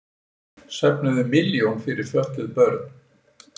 Söfnuðu milljón fyrir fötluð börn